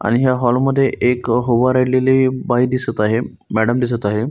आणि या हॉल मध्ये एक उभा राहिलेली बाई दिसत आहे मॅडम दिसत आहे.